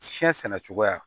Siyɛn sɛnɛ cogoya